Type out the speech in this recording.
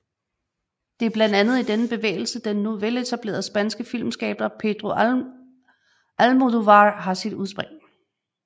Det er blandt andet i denne bevægelse den nu veletablerede spanske filmskaber Pedro Almodóvar har sit udspring